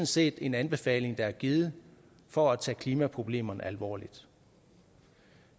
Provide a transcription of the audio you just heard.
set en anbefaling der er givet for at tage klimaproblemerne alvorligt